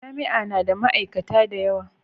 Jami'a na da ma'aikata da yawa.